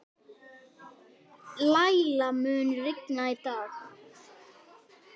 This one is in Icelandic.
Læla, mun rigna í dag?